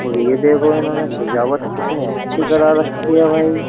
और ये देखो इन्होंने सजावट कितनी अच्छी करा रखी है भाई।